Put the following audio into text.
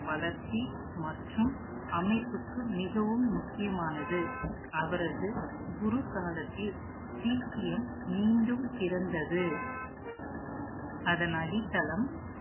வளர்ச்சி, மற்றும் அமைப்புக்கு மிகவும் முக்கியமானது. அவரது குரு காலத்தில், சீக்கியம் மீண்டும் பிறந்தது அதன் அடித்தளம்